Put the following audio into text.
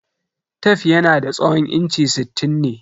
Tef yanada tsawon inchi sittin ne.